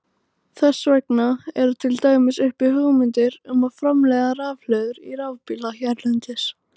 Þess vegna eru til dæmis uppi hugmyndir um að framleiða rafhlöður í rafbíla hérlendis.